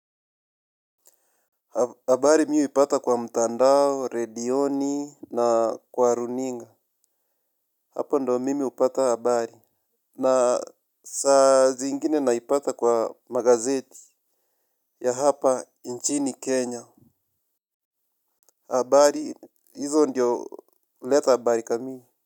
Habari mi hupata kwa mtandao, redioni na kwa runinga. Hapo ndio mimi hupata habari. Na saa zingine naipata kwa magazeti ya hapa nchini Kenya. Habari hizo ndio huleta habari kamili.